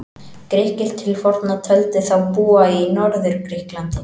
Grikkir til forna töldu þá búa í Norður-Grikklandi.